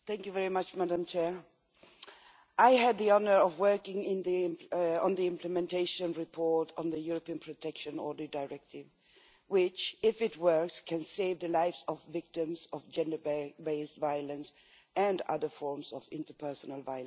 Madam President, I had the honour of working on the implementation report on the European Protection Order Directive, which, if it works, can save the lives of victims of gender based violence and other forms of interpersonal violence.